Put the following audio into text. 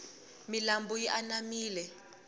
milambu yi anamile